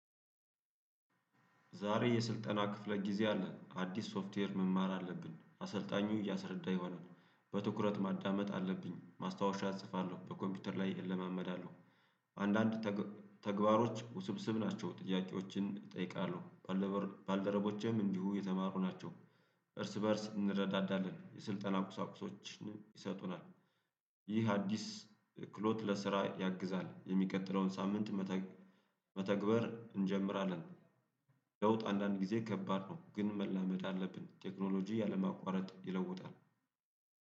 ዛሬ የስልጠና ክፍለ ጊዜ አለ አዲስ ሶፍትዌር መማር አለብን አሰልጣኙ እያሰረዳ ይሆናል በትኩረት ማዳመጥ አለብኝ ማስታወሻ እጽፋለሁ በኮምፒውተር ላይ እለማመዳለሁ። አንዳንድ ተግባሮች ውስብስብ ናቸው ጥያቄዎችን እጠይቃለሁ። ባልደረቦቼም እንዲሁ የተማሩ ናቸው። እርስ በእርስ እንረዳዳለን የስልጠና ቁሳቁሶችን ይሰጡናል። ይህ አዲስ ክህሎት ለስራ ያግዛል። የሚቀጥለውን ሳምንት መተግበር እንጀምራለን። ለውጥ አንዳንድ ጊዜ ከባድ ነው ግን መላመድ አለብን ቴክኖሎጂ ያለምንም ማቋረጥ ይለውጣል።